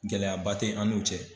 Gɛlɛyaba tɛ an n'u cɛ.